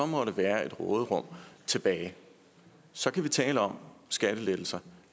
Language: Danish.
måtte være et råderum tilbage så kan vi tale om skattelettelser